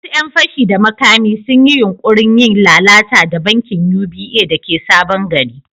Wasu ‘yan fashi da makami sun yi yunkurin yin lalata da bankin UBA da ke Sabon Gari.